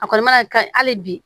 A kɔni mana ka hali bi